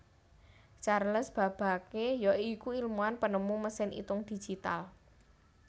Charles Babbage ya iku ilmuwan penemu mesin itung digital